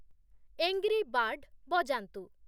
angry bird ବଜାନ୍ତୁ |